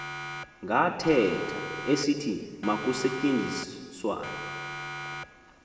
ngathetha esithi makusetyenziswane